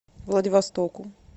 владивостоку